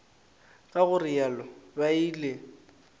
ka go realo ba ile